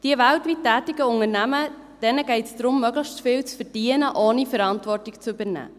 Diesen weltweit tätigen Unternehmen geht es darum, möglichst viel zu verdienen ohne Verantwortung zu übernehmen.